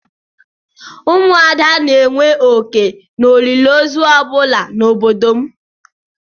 Ụmụ ada na-enwe oké n'olili ozu ọ bụla na obodo m.